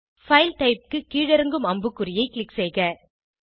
file typeக்கு கீழிறங்கு அம்புக்குறியை க்ளிக் செய்க